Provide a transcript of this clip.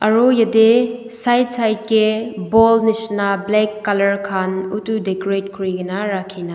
Aro yateh side side kae ball neshina black colour khan utu decorate kurikena rakhi na--